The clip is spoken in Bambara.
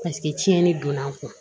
Paseke tiɲɛni donn'an kun